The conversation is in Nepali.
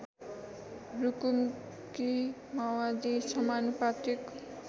रुकुमकी माओवादी समानुपातिक